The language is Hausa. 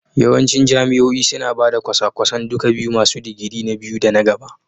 Yawancin jami'o'i suna ba da kwasa-kwasan duka biyu masu digiri na biyu da na gaba